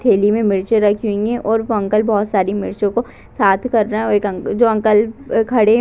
थैली में मिर्ची रखी हुई है और वो अंकल बहुत सारी मिर्चियों को साथ कर रहे और एक जो अंकल खड़े है --